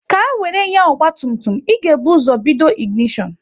Ka wéré nya ọgba tum tum, ị ga-ebu ụzọ bido ịginishon